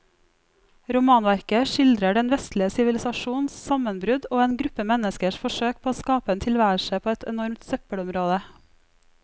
Romanverket skildrer den vestlige sivilisasjons sammenbrudd og en gruppe menneskers forsøk på å skape en tilværelse på et enormt søppelområde.